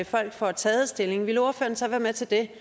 folk får taget stilling vil ordføreren så være med til det